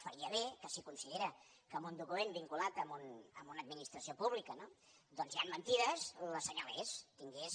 faria bé que si considera que en un document vinculat a una administració pública doncs hi han mentides les assenyalés tingués